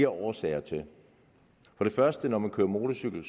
årsager til for det første når man kører motorcykel